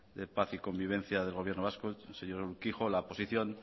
de paz y convivencia del gobierno vasco el señor urkijo la posición